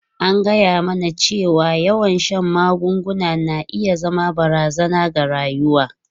An gaya mana cewa yawan shan magunguna na iya zama barazana ga rayuwa.